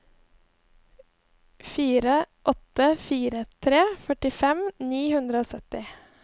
fire åtte fire tre førtifem ni hundre og sytti